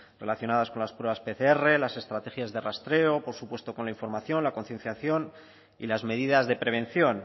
relacionadas con las pruebas pcr las estrategias de rastreo por supuesto con la información la concienciación y las medidas de prevención